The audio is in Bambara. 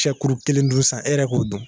Sɛkuru kelen dun sisan e yɛrɛ k'o dun